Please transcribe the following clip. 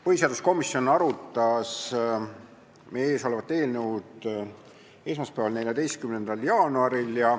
Põhiseaduskomisjon arutas meie ees olevat eelnõu esmaspäeval, 14. jaanuaril.